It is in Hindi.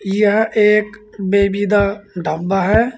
यह एक बेबी दा ढाबा है।